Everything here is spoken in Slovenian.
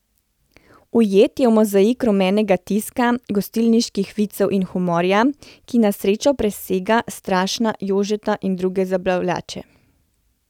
Ujet je v mozaik rumenega tiska, gostilniških vicev in humorja, ki na srečo presega Strašna Jožeta in druge zabavljače.